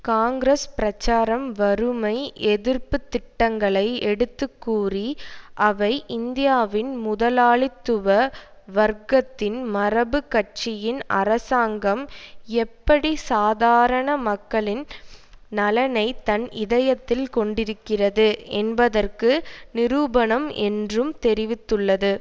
காங்கிரஸ் பிரச்சாரம் வறுமை எதிர்ப்பு திட்டங்களை எடுத்துக்கூறி அவை இந்தியாவின் முதலாளித்துவ வர்க்கத்தின் மரபு கட்சியின் அரசாங்கம் எப்படி சாதாரண மக்களின் நலனைத் தன் இதயத்தில் கொண்டிருக்கிறது என்பதற்கு நிரூபணம் என்றும் தெரிவித்துள்ளது